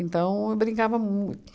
eu brincava mui